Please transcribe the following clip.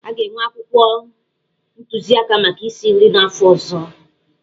A ga-enwe akwụkwọ ntụziaka maka isi nri n'afọ ọzọ.